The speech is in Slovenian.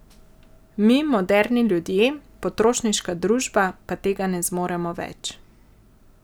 Mi, moderni ljudje, potrošniška družba, pa tega ne zmoremo več.